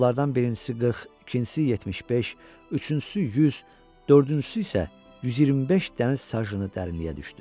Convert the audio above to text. Tilovlardan birincisi 40, ikincisi 75, üçüncüsü 100, dördüncüsü isə 125 dəniz sajını dərinliyə düşdü.